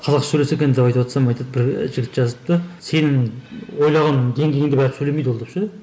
қазақша сөйлесе екен деп айтыпватсам айтады бір і жігіт жазыпты сен ойлаған деңгейіңде бәрібір сөйлемейді ол деп ше